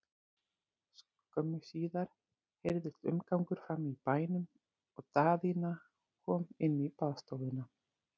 Skömmu síðar heyrðist umgangur frammi í bænum og Daðína kom inn í baðstofuna.